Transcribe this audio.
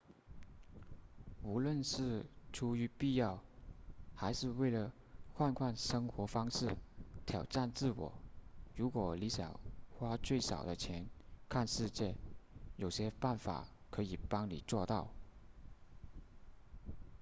无论是出于必要还是为了换换生活方式挑战自我如果你想花最少的钱看世界有些办法可以帮你做到